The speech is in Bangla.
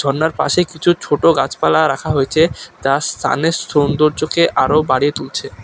ঝর্নার পাশে কিছু ছোটো গাছপালা রাখা হয়েছে তা স্থানের সৌন্দর্যকে আরও বাড়িয়ে তুলছে।